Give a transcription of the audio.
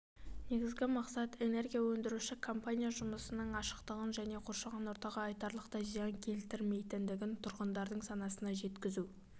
негізгі мақсат энергия өндіруші компания жұмысының ашықтығын және қоршаған ортаға айтарлықтай зиян келтірмейтінін тұрғындардың санасына жеткізу